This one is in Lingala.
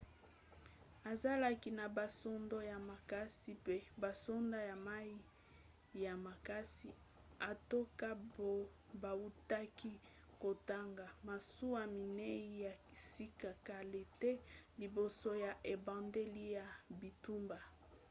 azalaki na basoda ya makasi pe basoda ya mai ya makasi atako bautaki kotonga masuwa minei ya sika kala te liboso ya ebandeli ya bitumba